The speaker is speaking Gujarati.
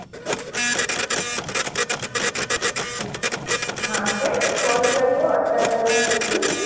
હાં કેમ? call કર્યો અટલા દિવસ પછી.